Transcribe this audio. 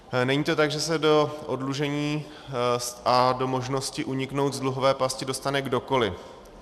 Není to tak, že se do oddlužení a do možnosti uniknout z dluhové pasti dostane kdokoliv.